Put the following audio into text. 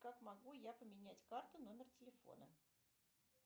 как могу я поменять карту номер телефона